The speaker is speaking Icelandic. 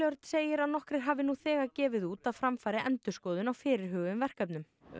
segir að nokkrir hafi nú þegar gefið út að fram fari endurskoðun á fyrirhuguðum verkefnum